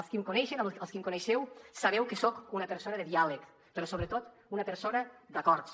els qui em coneixen els qui em coneixeu sabeu que soc una persona de diàleg però sobretot una persona d’acords